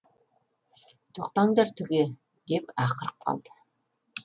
тоқтаңдар түге деп ақырып қалды